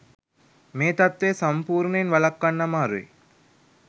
මේ තත්ත්වය සම්පූර්ණයෙන් වළක්වන්න අමාරුයි.